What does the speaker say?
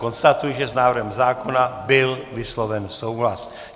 Konstatuji, že s návrhem zákona byl vysloven souhlas.